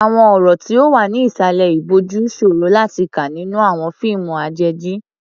Àwọn ọ̀rọ̀ tí ó wà ní ìsàlẹ̀ ìbòjú ṣòro láti kà nínú àwọn fíìmù àjèjì.